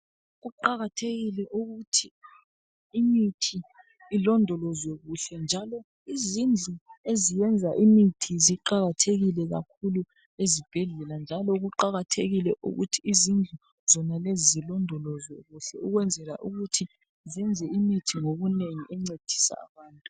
Kuqakathekile ukuthi imithi ilondolozwe kuhle. Njalo izindlu eziyenza imithi ziqakathekile kakhulu ezibhedlela .Njalo kuqakathekile ukuthi zindlu zonalezi zilondolozwe kuhle . Ukwenzela ukuthi zenze imithi ngobunengi encedisa abantu .